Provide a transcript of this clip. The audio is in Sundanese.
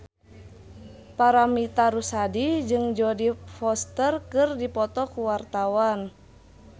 Paramitha Rusady jeung Jodie Foster keur dipoto ku wartawan